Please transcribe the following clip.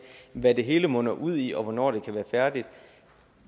hvad det hele munder ud i og hvornår det kan være færdigt